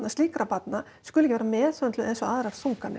slíkra barna skuli ekki vera meðhöndlaðar eins og aðrar þunganir